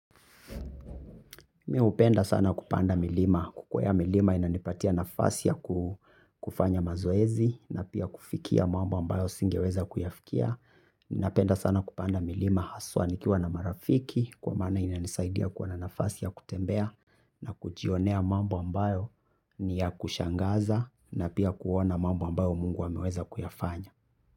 Mi hupenda sana kupanda milima. Kukwea milima inanipatia nafasi ya kufanya mazoezi na pia kufikia mambo ambayo singeweza kuyafikia. Napenda sana kupanda milima haswa nikiwa na marafiki kwa maana inanisaidia kuwa na nafasi ya kutembea na kujionea mambo ambayo ni ya kushangaza na pia kuona mambo ambayo Mungu ameweza kuyafanya.